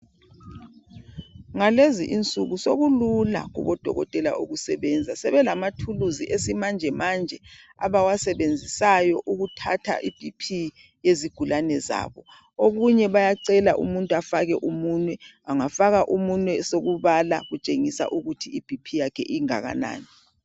Ngalezi insuku sokulula kubodokotela ukusebenza .Sebelama thuluzi esimanje manje abawasebenzisayo ukuthatha iBP yezigulane zabo .Okunye bayacela umuntu afake umunwe ,angafaka umunwe sokubala kutshengisa ukuthi iBP yakhe ingakanani.